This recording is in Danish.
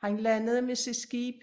Han landede med sit skib